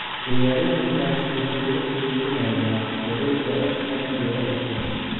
Ciyaaryahankaas wuxuu la xiriirinayaa wareegga Arsenal iyo Everton.